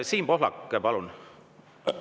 Siim Pohlak, palun!